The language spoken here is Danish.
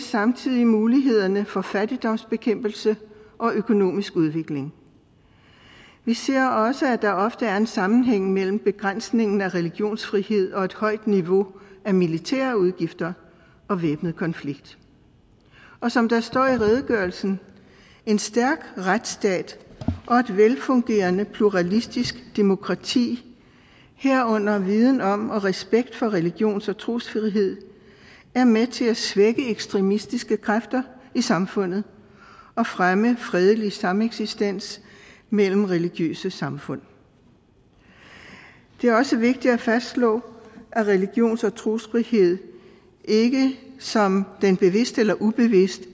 samtidig mulighederne for fattigdomsbekæmpelse og økonomisk udvikling vi ser også at der ofte er en sammenhæng mellem begrænsningen af religionsfrihed og et højt niveau af militære udgifter og væbnet konflikt og som der står i redegørelsen en stærk retsstat og et velfungerende pluralistisk demokrati herunder viden om og respekt for religions og trosfrihed er med til at svække ekstremistiske kræfter i samfundet og fremme fredelig sameksistens mellem religiøse samfund det er også vigtigt at fastslå at religions og trosfrihed ikke som den bevidst eller ubevidst